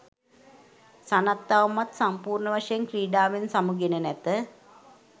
සනත් තවමත් සම්පූර්ණවශයෙන් ක්‍රීඩාවෙන් සමුගෙන නැත